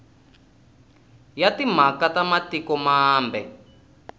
ya timhaka ta matiko mambe